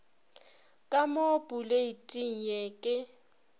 ka mo poleiting ye ke